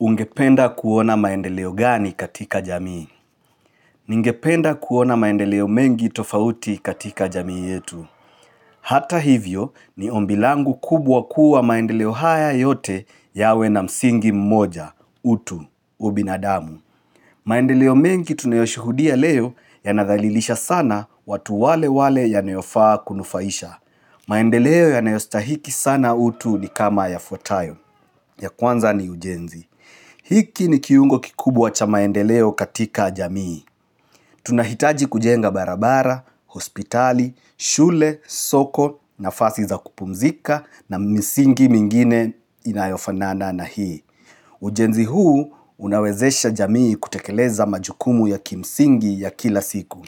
Ungependa kuona maendeleo gani katika jamii? Ningependa kuona maendeleo mengi tofauti katika jamii yetu. Hata hivyo, ni ombi langu kubwa kuwa maendeleo haya yote yawe na msingi mmoja, utu, ubinadamu. Maendeleo mengi tunayoshuhudia leo ya nadhalilisha sana watu wale wale yanaofaa kunufaisha. Maendeleo ya yanaostahiki sana utu ni kama ya fwatayo. Ya kwanza ni ujenzi. Hiki ni kiungo kikubwa cha maendeleo katika jamii. Tunahitaji kujenga barabara, hospitali, shule, soko, nafasi za kupumzika na misingi mingine inayofanana na hii. Ujenzi huu unawezesha jamii kutekeleza majukumu ya kimsingi ya kila siku.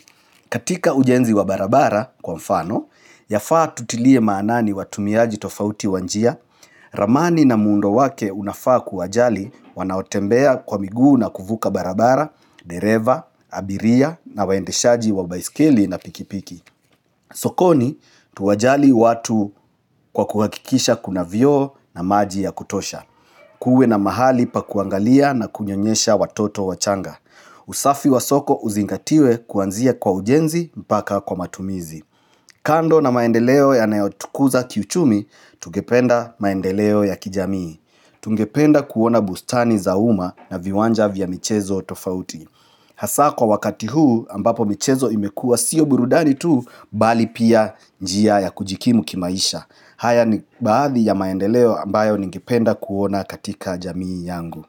Katika ujenzi wa barabara kwa mfano, yafaa tutilie maanani watumiaji tofauti wa njia, ramani na muundo wake unafaa kuwajali wanaotembea kwa miguu na kuvuka barabara, dereva, abiria na waendeshaji wa baiskeli na pikipiki. Sokoni, tuwajali watu kwa kuhakikisha kuna vioo na maji ya kutosha. Kuwe na mahali pa kuangalia na kunyonyesha watoto wachanga. Usafi wa soko uzingatiwe kuanzia kwa ujenzi mpaka kwa matumizi kando na maendeleo yanayotukuza kiuchumi, tungependa maendeleo ya kijamii Tungependa kuona bustani za umma na viwanja vya michezo tofauti. Hasa kwa wakati huu ambapo michezo imekua siyo burudani tuu bali pia njia ya kujikimu kimaisha. Haya ni badhi ya maendeleo ambayo ningependa kuona katika jamii yangu.